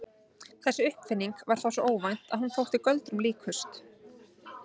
Þessi uppfinning var þá svo óvænt að hún þótti göldrum líkust.